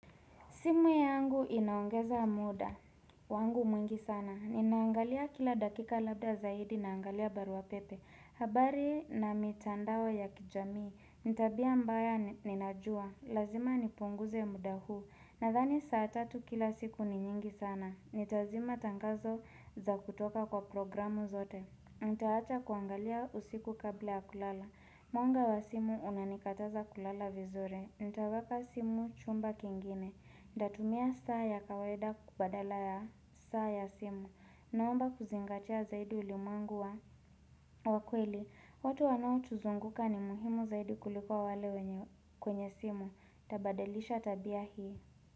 Simu yangu inaongeza muda, wangu mwingi sana. Ninaangalia kila dakika labda zaidi naangalia barua pepe. Habari na mitandao ya kijamii, ni tabia mbaya ninajua. Lazima nipunguze muda huu, nadhani saa tatu kila siku ni nyingi sana. Nitazima tangazo za kutoka kwa programu zote. Nitawacha kuangalia usiku kabla ya kulala. Mwanga wa simu unanikataza kulala vizuri. Nitaweka simu chumba kingine. Ntatumia saa ya kawaida badala ya saa ya simu. Naomba kuzingatia zaidi ulimwengu wa. Wakweli, watu wanaotuzunguka ni muhimu zaidi kuliko wale kwenye simu. Tabadalisha tabia hii.